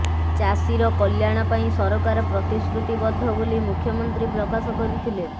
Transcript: ଚାଷୀର କଲ୍ୟାଣ ପାଇଁ ସରକାର ପ୍ରତିଶ୍ରୁତିବଦ୍ଧ ବୋଲି ମୁଖ୍ୟମନ୍ତ୍ରୀ ପ୍ରକାଶ କରିଥିଲେ